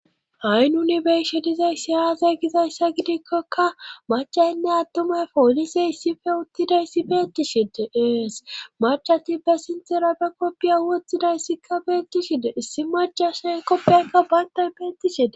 Ayi nuni beyshe dizay siyazay gizayssa gidikkokka macayinne attumay poolise issife uttidayssi beettishide ees marcati be sinthera be koppiya wothidayssikka beettishide issi macasa koppiyakka bayntan beettishide..